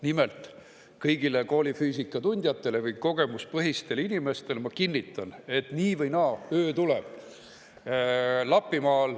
Nimelt, kõigile koolifüüsika tundjatele või kogemuspõhistele inimestele ma kinnitan, et nii või naa öö tuleb.